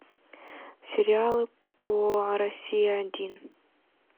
сериалы по россия один